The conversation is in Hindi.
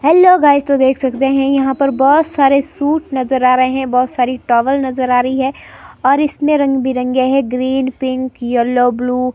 हेलो गाइस तो देख सकते हैं यहां पर बहुत सारे सूट नजर आ रहे हैं बहुत सारी टॉवल नजर आ रही है और इसमें रंग बिरंगे है ग्रीन पिंक येलो ब्लू ।